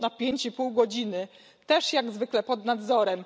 przez pięć i pół godziny, też jak zwykle pod nadzorem.